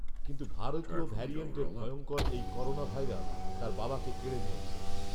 কিন্ত ভারতীয় ভ্যারিয়েন্টের ভংয়কর এই করোনাভাইরাস তার বাবাকে কেড়ে নিয়েছে